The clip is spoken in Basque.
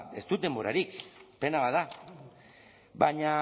ez dut denborarik pena bat da baina